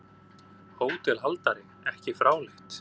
HÓTELHALDARI: Ekki fráleitt!